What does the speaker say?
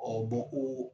bɔ ko